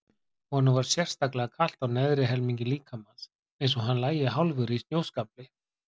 Honum var sérstaklega kalt á neðri helmingi líkamans, eins og hann lægi hálfur í snjóskafli.